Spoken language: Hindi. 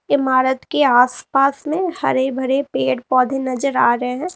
इमारत के आसपास में हरे भरे पेड़ पौधे नजर आ रहे हैं।